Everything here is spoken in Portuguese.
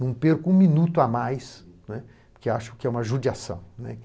Não perco um minuto a mais, não é, por que acho que é uma judiação.